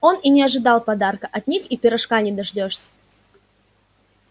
он и не ожидал подарка от них и пирожка не дождёшься